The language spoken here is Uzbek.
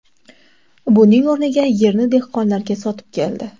Buning o‘rniga yerni dehqonlarga sotib keldi.